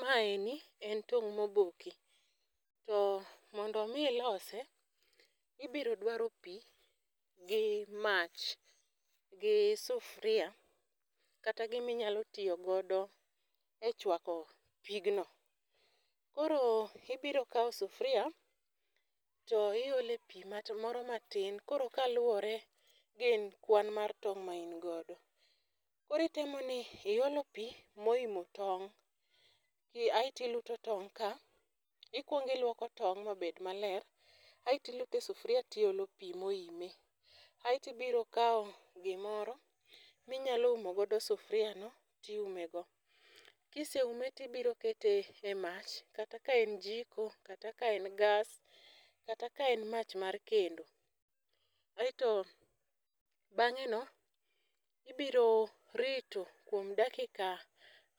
Maeni en tong' moboki to mondo mi ilose, ibiro dwaro pii gi mach gi sufria kata gimi nyalo tiyo godo e chwako pigno. Koro ibiro kawo sufria to iole pii ma moro matin koro kaluwore gi kwan mar tong ma in godo. Koro temo ni iolo pii moimo tong' pii aeti luto tong' ka. Ikuong iluoko tong mabed maber aeti lute sufria tiolo pii moime. Aeti biro kawo gimoro minyalo umo good sufria no tiume go kiseumo tibiro kete e mach kata ka en joko kata ka en gas kata ka en mach mar kendo. Aeto bang'e no ibiro rito kuom dakika